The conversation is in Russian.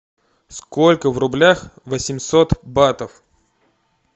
сколько в рублях восемьсот батов